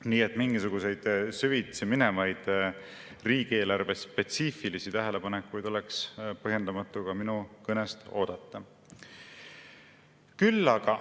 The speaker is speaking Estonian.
Nii et mingisuguseid süvitsi minevaid riigieelarvespetsiifilisi tähelepanekuid oleks põhjendamatu minu kõnest oodata.